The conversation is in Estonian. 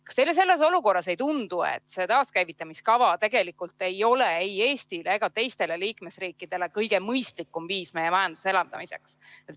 Kas teile selles olukorras ei tundu, et see taaskäivitamise kava tegelikult ei ole ei Eestile ega teistele liikmesriikidele kõige mõistlikum viis majanduse elavdamiseks?